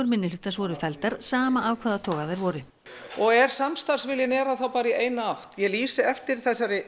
minnihlutans voru felldar sama af hvaða toga þær voru og er samstarfsviljinn er hann þá bara í eina átt ég lýsi eftir